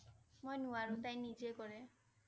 মই নোৱাৰো তাই নিজেই কৰে